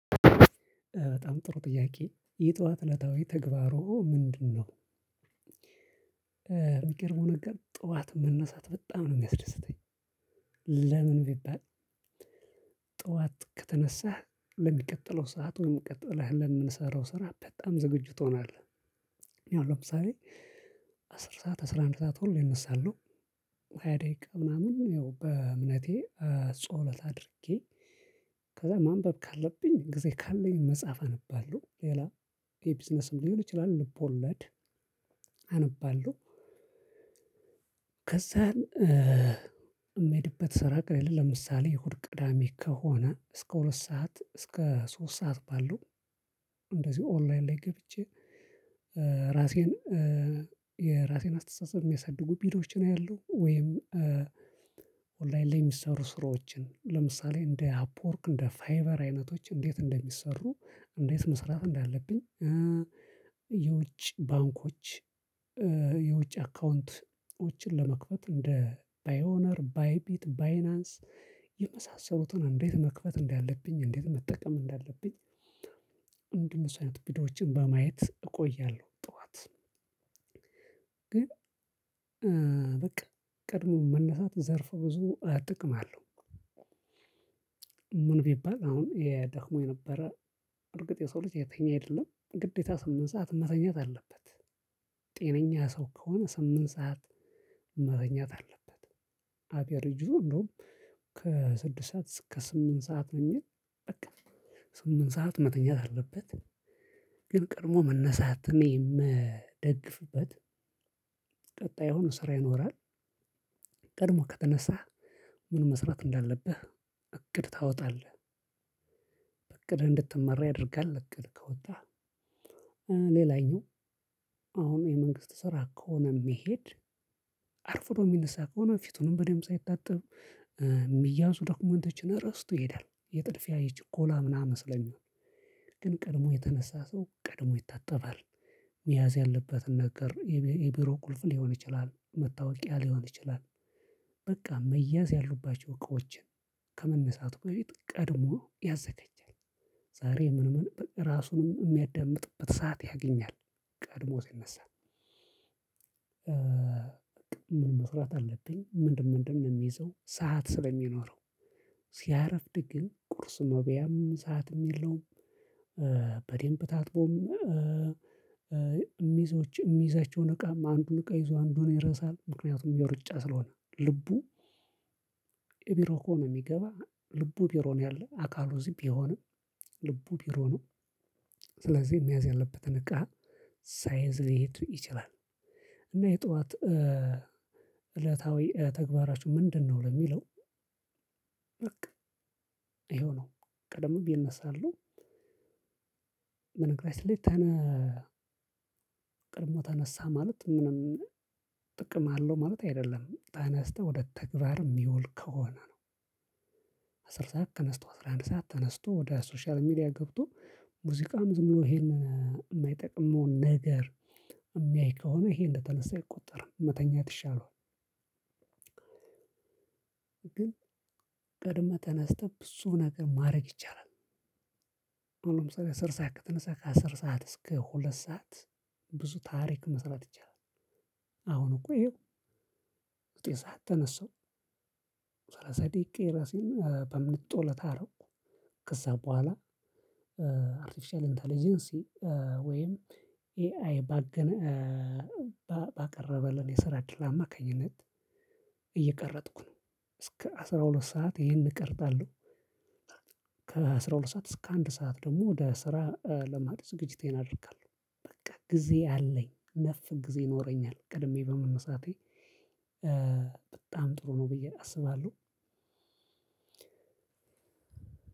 በጣም ጥሩ ጥያቄ የጠዋት እለታዊ ተግባርዎ ምንድነው? የሚገርመው ነገር ጠዋት መነሳት በጣም ነው የሚያስደስተኝ። ለምን ቢባል። ጠዋት ከተነሳህ ለሚቀጥለው ሰዓት ወይም ቀጥለህ ለምንሰራው ስራ በጣም ዝግጁ ትሆናለህ። እኔ አሁን ለምሳሌ አስር ሰዓት አስራ አንድ ሰዓት ሁሌ እነሳለሁ። ሃያ ደቂቃ ምናምን ያው በእምነቴ ጸሎት አድርጌ ከዛ ማንበብ ካለብኝ ጊዜ ካለኝ መጽሐፍ አነባለሁ። ሌላ የቢዝነስም ሊሆን ይችላል ልቦለድ አነባለሁ። ከዛ የምሄድበት ስራ ቀለል ለምሳሌ እሁድ ቅዳሜ ከሆነ እስከ ሁለት ሰዓት እስከ ሶስት ሰዓት ባለው እንደዚሁ ኦንላይን ላይ ገብቼ ራሴን የራሴን አስተሳሰብ የሚያሳድጉ ቪዲዮዎችን አያለሁ። ወይም ኦንላይን ላይ የሚሰሩ ስራዎችን ለምሳሌ እንደ አፕወርክ እንደ ፋይቨር አይነቶች እንዴት እንደሚሰሩ እንዴት መስራት እንዳለብኝ። የውጭ ባንኮች የውጭ አካውንቶችን ለመክፈት እንደ ፓይኦነር ባይቢት ባይናንስ የመሳሰሉትን እንዴት መክፈት እንዳለብኝ እንዴት መጠቀም እንዳለብኝ። እንደ እነሱ አይነት ቪዲዮዎችን በማየት እቆያለሁ። ጠዋት ግን በቃ ቀድሞ መነሳት ዘርፈ ብዙ ጥቅም አለው። ምን ቢባል አሁን ደክሞ የነበረ እርግጥ የሰው ልጅ እየተኛ አይደለም ግዴታ ስምንት ሰዓት መተኛት አለበት። ጤነኛ ሰው ከሆነ ስምንት ሰዓት መተኛት አለበት። አቬረጁ እንደውም ከስድስት ሰዓት እስከ ስምንት ሰዓት ነው የሚል በቃ ስምንት ሰዓት መተኛት አለበት። ግን ቀድሞ መነሳትን የምደግፍበት ቀጣይ አሁን ስራ ይኖራል። ቀድሞ ከተነሳህ ምን መስራት እንዳለብህ እቅድ ታወጣለህ። በእቅድህ እንድትመራ ያደርጋል። እቅድ ካወጣህ ሌላኛው አሁን የመንግስት ስራ ከሆነ የሚሄድ አርፍዶ የሚነሳ ከሆነ ፊቱንም በደንብ ሳይታጠብ የሚያዙ ዶክመንቶችን እረስቶ ይሄዳል። የጥድፊያ ይችኮላ ምናምን ስለሚሆን ግን ቀድሞ የተነሳ ሰው ቀድሞ ይታጠባል። መያዝ ያለበትን ነገር የቢሮ ቁልፍ ሊሆን ይችላል መታወቂያ ሊሆን ይችላል። በቃ መያዝ ያሉባቸው እቃዎች ከመነሳቱ በፊት ቀድሞ ያዘጋጃል። ዛሬ ምን ምን ራሱንም የሚያዳምጥበት ሰዓት ያገኛል። ቀድሞ ሲነሳ ምን መስራት አለብኝ ምንድነው ምንድነው የሚይዘው ሰዓት ስለሚኖረው። ሲያረፍድ ግን ቁርስ መብያም ሰዓትም የለውም። በደምብ ታጥቦም ሚዞች የሚይዛቸውን እቃ አንዱን እቃ ይዞ አንዱን ይረሳል። ምክንያቱም የሩጫ ስለሆነ ልቡ የቢሮ ከሆነ የሚገባ ልቡ ቢሮ ነው ያለው አካሉ እዚህ ቢሆንም ልቡ ቢሮ ነው። ስለዚህ መያዝ ያለበትን እቃ ሳይዝ ሊሄድ ይችላል። እና የጠዋት እለታዊ ተግባራችሁ ምንድነው? ለሚለው በቃ ይሄው ነው። ቀደምም ይነሳሉ በነገራችን ላይ ተነ ቀድሞ ተነሳ ማለት ምንም ጥቅም አለው ማለት አይደለም ተነስተህ ወደ ተግባር የሚውል ከሆነ ነው። አስር ሰዓት ተነስቶ አስራ አንድ ሰዓት ተነስቶ ወደ ሶሻል ሚዲያ ገብቶ ሙዚቃም ዝም ብሎ ይሄንን የማይጠቅመውን ነገር የሚያይ ከሆነ ይሄ እንደተነሳ አይቆጠርም መተኛት ይሻለዋል። ግን ቀድመህ ተነስተህ ብዙ ነገር ማድረግ ይቻላል። አሁን ለምሳሌ አስር ሰዓት ከተነሳ ከአስር ሰዓት እስከ ሁለት ሰዓት ብዙ ታሪክ መስራት ይቻላል። አሁን እኮ ይሄው ዘጠኝ ሰዓት ተነሳሁ። ሰላሳ ደቂቃ የራሴን በእምነት ጸሎት አረኩ ከዛ በኋላ አርቴፊሻል ኢንተለጀንሲ ወይም ኤአይ ባቀረበልን የስራ እድል አማካኝነት እየቀረጥኩ ነው እስከ አስራ ሁለት ሰዓት ይህን እቀርጣለሁ። ከአስራ ሁለት ሰዓት እስከ አንድ ሰዓት ደግሞ ወደ ስራ ለማድረግ ዝግጅቴን አደርጋለሁ። በቃ ጊዜ አለኝ ነፍ ጊዜ ይኖረኛል ቀድሜ በመነሳቴ። በጣም ጥሩ ነው ብዬ አስባለሁ።